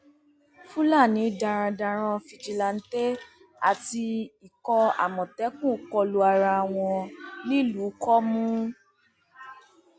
fúlàní darandaran fìjìláńtẹ àti ikọ àmọtẹkùn kọ lu ara wọn nílùú komu